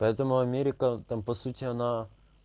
поэтому америку там по сути она